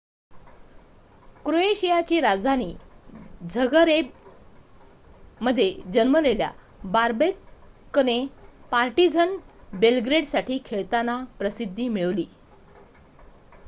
क्रोएशियाची राजधानी झगरेबमध्ये जन्मलेल्या बॉबेकने पार्टीझन बेलग्रेडसाठी खेळताना प्रसिद्धी मिळवली